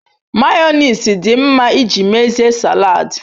mayonnaise di nma iji mezie salad